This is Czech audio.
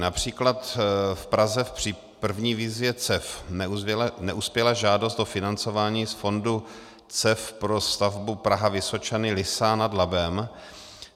Například v Praze při první výzvě CEF neuspěla žádost o financování z fondu CEF pro stavbu Praha-Vysočany - Lysá nad Labem.